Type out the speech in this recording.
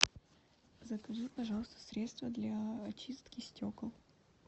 закажи пожалуйста средство для очистки стекол